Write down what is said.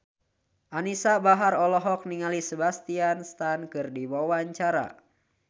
Anisa Bahar olohok ningali Sebastian Stan keur diwawancara